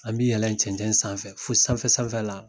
An bi yɛlɛn cɛncɛn sanfɛ fo sanfɛ sanfɛ la